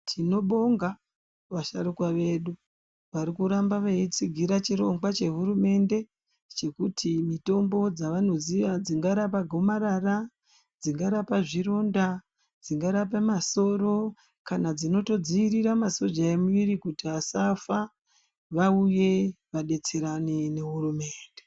Tinobonga vasharukwa vedu varikuramba veitsigira chirongwa chehurumende chekuti mitombo dzavanoziva dzingarapa gomarara Dzingarapa zvironda dzingarapa masoro kana kuti dzinodzivirira masoja memuviri kuti asafa Vauye vadetserane nehurumende.